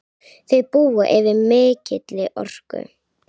Þau búa yfir mikilli orku.